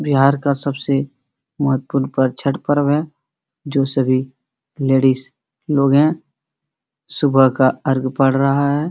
बिहार का सबसे महत्वपूर्ण पर्व छठ पर्व है जो सभी लेडिज लोग हैं सुबह का अर्ग पर रहा है।